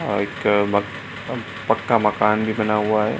और एक मका पक्का मकान भी बना हुआ है ।